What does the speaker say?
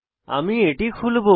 আমি এটি খুলবো